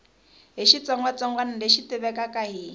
hi xitsongwatsongwana lexi tivekaka hi